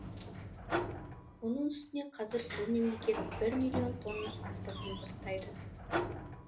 оның үстіне қазір бұл мемлекет бір миллион тонна астық импорттайды